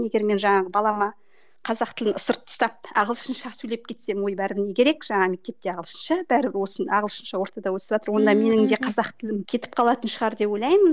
егер мен жаңағы балама қазақ тілін ысырып тастап ағылшынша сөйлеп кетсем ой бәрі не керек жаңағы мектепте ағылшынша бәрібір осы ағылшынша ортада өсіватыр онда менің де қазақ тілім кетіп қалатын шығар деп ойлаймын